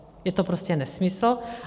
Je to prostě nesmysl.